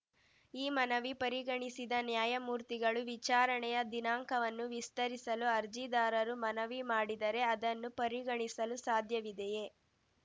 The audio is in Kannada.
ಈ ಮನವಿ ಪರಿಗಣಿಸಿದ ನ್ಯಾಯಮೂರ್ತಿಗಳು ವಿಚಾರಣೆಯ ದಿನಾಂಕವನ್ನು ವಿಸ್ತರಿಸಲು ಅರ್ಜಿದಾರರು ಮನವಿ ಮಾಡಿದರೆ ಅದನ್ನು ಪರಿಗಣಿಸಲು ಸಾಧ್ಯವಿದೆಯೇ